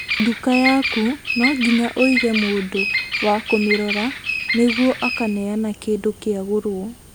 Nduka yaku no nginya ũige mũndũ wa kũmĩrora nĩguo akaneana kĩndũ kĩagũrwo